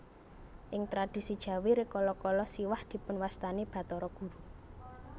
Ing tradhisi Jawi rikala kala Siwah dipunwastani Bathara Guru